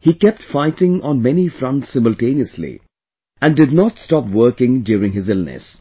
he kept fighting on many fronts simultaneously and did not stop working during his illness